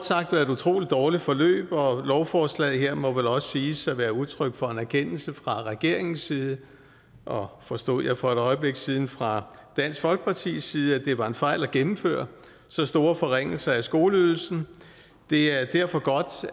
sagt været et utrolig dårligt forløb og lovforslaget her må vel også siges at være udtryk for en erkendelse fra regeringens side og forstod jeg for et øjeblik siden fra dansk folkepartis side af at det var en fejl at gennemføre så store forringelser af skoleydelsen det er derfor godt